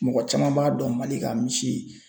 Mɔgɔ caman b'a dɔn MALI ka misi.